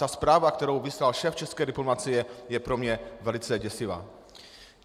Ta zpráva, kterou vyslal šéf české diplomacie, je pro mě velice děsivá.